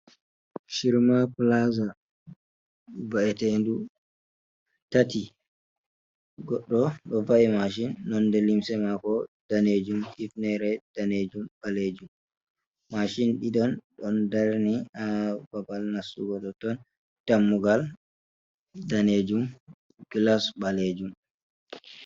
Shirma plaza: Va'eteñdu tati, goddo do va'i machine nonde limse mako danejum, ifnere danejum be balejum. Machine dido don darni ha babal nastugo tonton. Dammugal danejum, glass balejum.